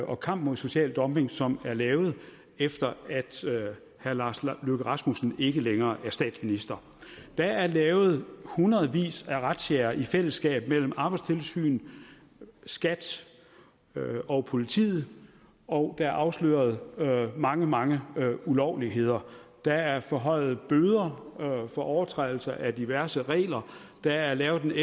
og kamp imod social dumping som er lavet efter at herre lars løkke rasmussen ikke længere er statsminister der er lavet i hundredvis af razziaer i fællesskab mellem arbejdstilsynet skat og politiet og der er afsløret mange mange ulovligheder der er forhøjede bøder for overtrædelse af diverse regler der er lavet